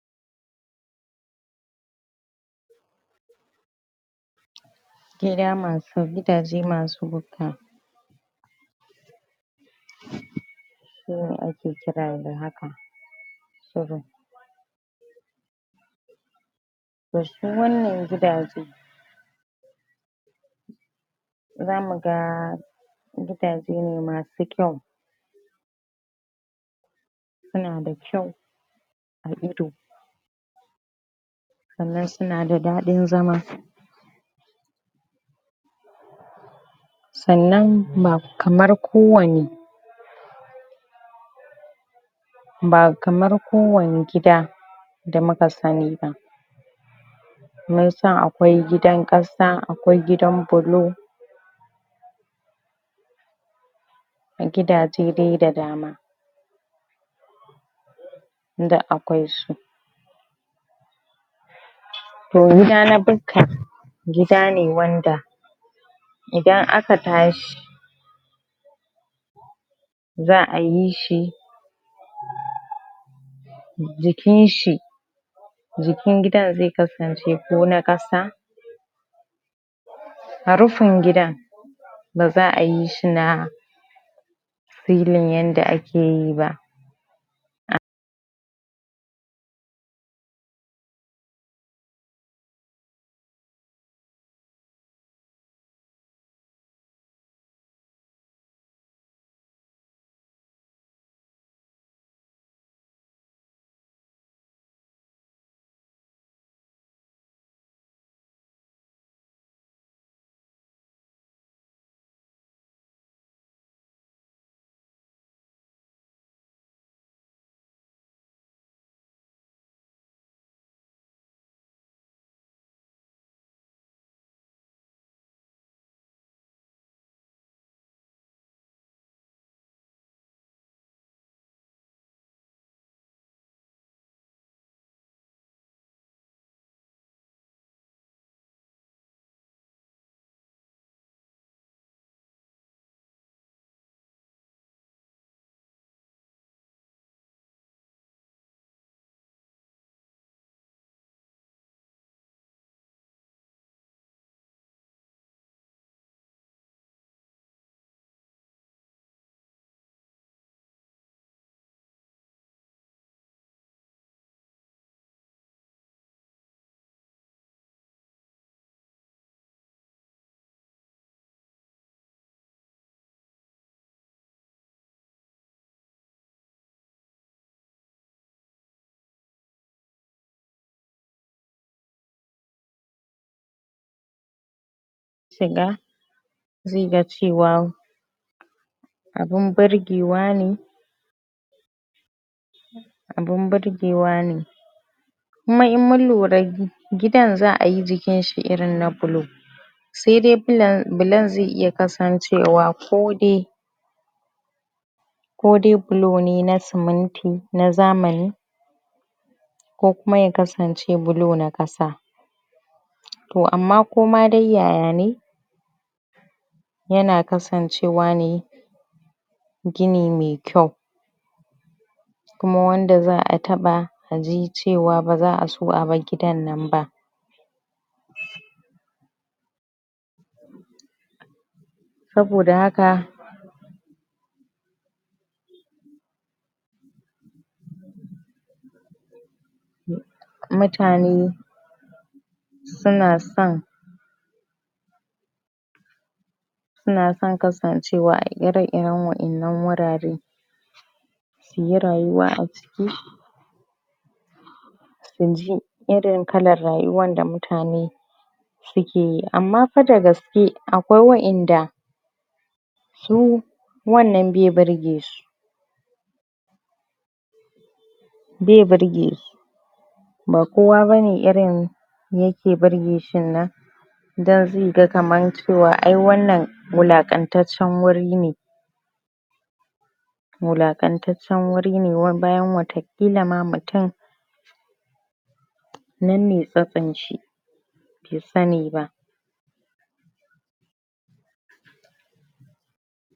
Gida masu Gidaje masu bukka su ne ake kira da haka to su wannan gidaje zamuga gidaje ne masu kyau suna da kyau a ido sannan sunada dadin zama sannan ba kamar kowane ba kamar kowane gida da muka sani ba munsan akwai gidan kasa akwai gidan blo Gidaje dai da dama. duk akwai su To gida na bukka, gidane wanda idan aka tashi za'ayi shi jinkinshi, jiikn gidan zai kasance ko na kasa, rfin gidan baza ayi shi na filin yanda akeyi ba zaiga cewa abun burgewa ne abun burgewa ne kuma in mun lura gidan za'ayi jikinshi irin na blo, saidai blo blon zai iya kasancewa odai kodai blo ne na sumunti na amani, ko kuma ya kasance blo na kasa to amma koma dai yayane yana kasancewa ne gini me kyau kuma wanda za'a taba, aji cewa baza aso a bar gidannan ba saboda haka mutane sunason sunason kasancewa a ire-iren wa'innan wurare suyi rayuwa aciki suji irin kalar rayuwan da mutane sukeyi. Amma fa da gaske akwai wa''inda su wannan bai burgesu. Bai burgesu. Ba kowa bane irin, yake burgeshinnnan, dan zaiga kamar cewa ai wannan, wulaqantaccen wuri ne wulaqantaccen wuri ne bayan wata kila ma mutum nan ne tsatson shi, bai sani ba.